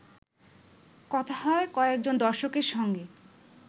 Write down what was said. কথা হয় কয়েকজন দর্শকের সঙ্গে